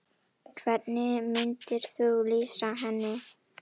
Hvernig myndir þú lýsa henni?